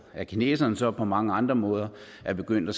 at kineserne så på mange andre måder er begyndt at